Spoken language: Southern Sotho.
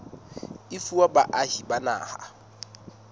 e fuwa baahi ba naha